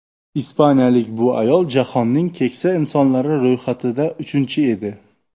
Ispaniyalik bu ayol jahonnning keksa insonlari ro‘yxatida uchinchi edi.